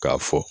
K'a fɔ